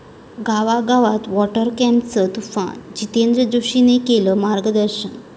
गावागावात 'वाॅटर कप'चं तुफान, जितेंद्र जोशीनं केलं मार्गदर्शन